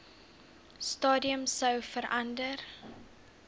stadium sou verander